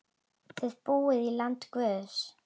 Þið búið í landi guðs.